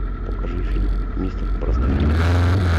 покажи фильм мистер простофиля